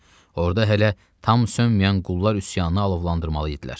Orda hələ tam sönməyən qullar üsyanını alovlandırmalıydılar.